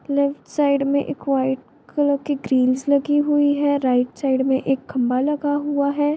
Left side में एक white colour की लगी हुई है राइट साइड में एक खंभा लगा हुआ है।